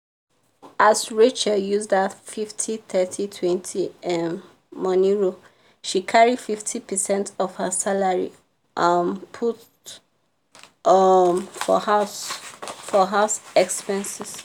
as rachel use that 50/30/20 um money rule she carry fifty percent of her salary um put um for house for house expenses.